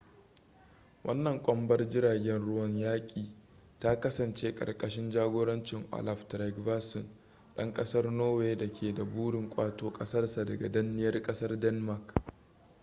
wannan kwambar jiragen ruwan yaƙi ta kasance karkashin jagorancin olaf trygvasson dan kasar norway da ke da burin ƙwato kasarsa daga danniyar kasar denmark